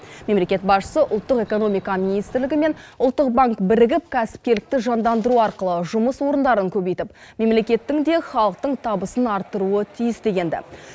мемлекет басшысы ұлттық экономика министрлігі мен ұлттық банк бірігіп кәсіпкерлікті жандандыру арқылы жұмыс орындарын көбейтіп мемлекеттің де халықтың табысын арттыруы тиіс деген ді